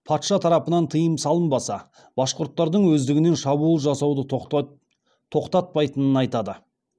патша тарапынан тыйым салынбаса башқұрттардың өздігінен шабуыл жасауды тоқтатпайтынын айтады